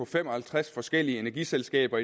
fem og halvtreds forskellige energiselskaber